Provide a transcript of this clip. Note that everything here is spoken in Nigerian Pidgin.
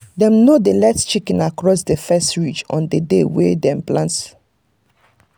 dem no dey let chicken cross the first ridge on the day wey dem dey plant.